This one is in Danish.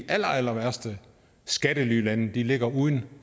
allerallerværste skattelylande ligger uden